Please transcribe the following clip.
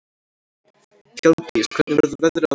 Hjálmdís, hvernig verður veðrið á morgun?